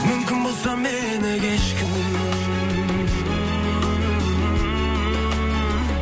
мүмкін болса мені кешкін